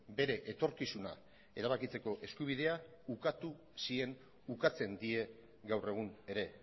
bere etorkizuna erabakitzeko eskubidea ukatu zien ukatzen die gaur egun ere